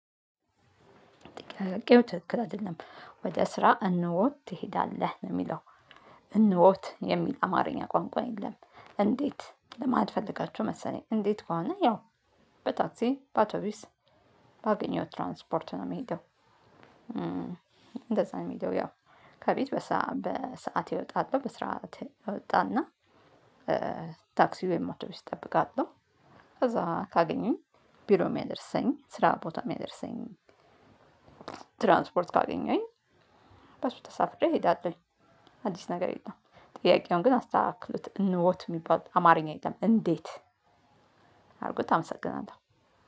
ቄው ትክክል አይደለም። ወደ ስራ እነወ ትሄዳለህ የሚለው። እንወት የሚል አማርኛ ቋንቋ የለም። እንዴት ለማለት ፈልጋችሁ መሰለኝ እንዴት ከሆነ? ያው በታክሲ በአቶቢስ ባገኘውት ትራንስፖርት ነው የሚሄደው። እንደዛ ነው የሚሄደው ያው። ከቤት በሰአቴ እወጣለሁ በሰአቴ እወጣና ታክሲ ወይም አቶቢስ እጠብቃለሁ። እዛ ካገኙኝ ቢሮ የሚያደርሰኝ ስራ ቦታ የሚያደርሰኝ። ትራንስፖርት ካገኘሁኝ በሱ ተሳፍሬ እሄዳለሁኝ። አዲስ ነገር የለም። ጥያቄውን ግን አስተካክሉት እነወት የሚባል አማርኛ የለም እንዴት? አድርጉት አመሰግናለሁ።